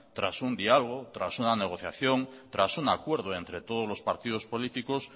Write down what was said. tras un diálogo tras una negociación tras un acuerdo entre todos los partidos políticos